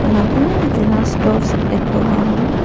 అలాగే glass doors ఎక్కువగా ఉన్నాయి.